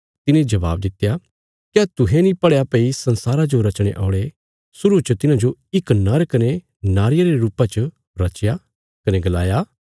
तिने जबाब दित्या क्या तुहें नीं पढ़या भई संसारा जो रचणे औल़े शुरु च तिन्हांजो इक नर कने नारिया रे रुपा च रचया कने गलाया